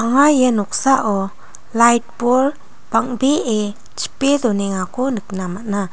anga ia noksao lait bol bang·bee chipe donengako nikna man·a.